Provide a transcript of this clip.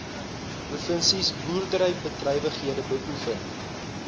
provinsies boerderybedrywighede beoefen